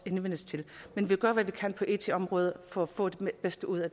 henvendelse til men vi gør hvad vi kan på it området for at få det bedste ud af